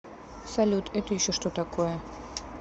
салют это еще что такое